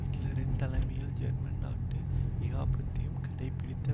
ஹிட்லரின் தலைமையில் ஜெர்மன் நாட்டு ஏகாபத்தியம் கடைபிடித்த